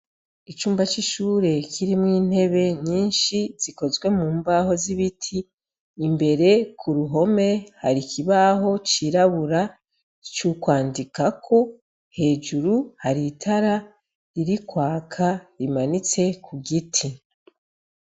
Icumba c'ishure kirimwo intebe nyinshi zikozwe mu mbaho z'ibiti imbere ku ruhome hari ikibaho cirabura c'ukwandikako hejuru haritara ririkwaka rimanitse ku giti.